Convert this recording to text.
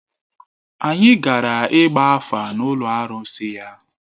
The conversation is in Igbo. Anyị gara ịgba afa n’ụlọ arụsị ya.